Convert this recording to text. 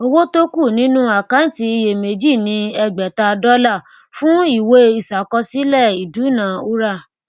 owó tó kú nínú àkáǹtí iyèméjì ni ẹgbèta dọlà fún ìwé iṣàkọsílẹ ìdúnaúrà